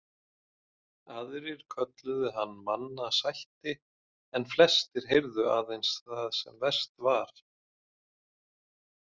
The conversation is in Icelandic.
Aðrir kölluðu hann mannasætti en flestir heyrðu aðeins það sem verst var.